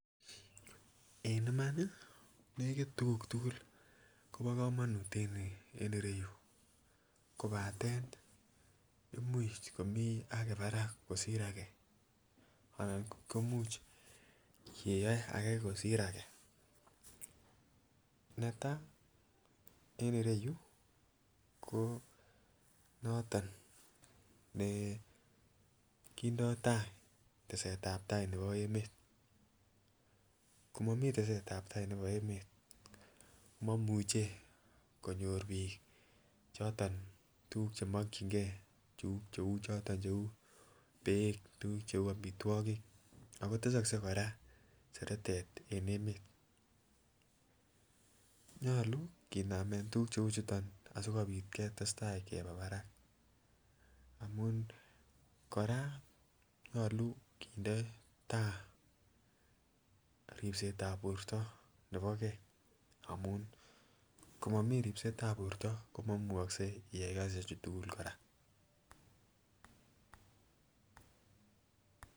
En iman nii nekit tukuk tukul Kobo komonut en ireyuu kobaten imuch komii age barak kosir agee anan ko imuch keyoe age kosir age. Netai en ireyuu ko noton nekindo taa tesetab tai nebo emet, komomii tesetab tai nebo emet komomuche konyor bik choton tukuk chemokin gee cheu choto cheu beek tukuk cheu omitwokik ako tesokse Koraa seretet en emet. Nyolu kinamen tukuk cheu chuton sikopit ketestai koba barak amun Koraa nyolu kinde taa ribsetab borto nebo gee amun komomii ribetab borto komomukose iyai kasishek chuu tukuk Koraa.